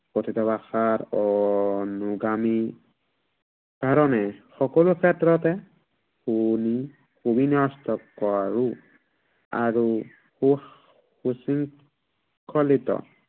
কথিত ভাষাৰ অনুগামী কাৰনে সকলো ক্ষেত্ৰতে